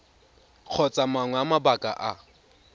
kgotsa mangwe a mabaka a